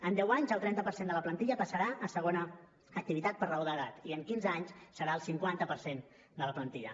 en deu anys el trenta per cent de la plantilla passarà a segona activitat per raó d’edat i en quinze anys serà el cinquanta per cent de la plantilla